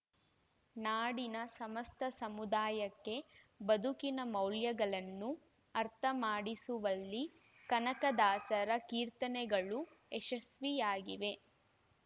ನಾಡಿನ ಸಮಸ್ತ ಸಮುದಾಯಕ್ಕೆ ಬದುಕಿನ ಮೌಲ್ಯಗಳನ್ನು ಅರ್ಥಮಾಡಿಸುವಲ್ಲಿ ಕನಕದಾಸರ ಕೀರ್ತನೆಗಳು ಯಶಸ್ಸಿಯಾಗಿವೆ